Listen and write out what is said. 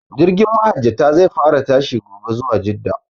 Jirgin mahajjata zai fara tashi gobe zuwa jidda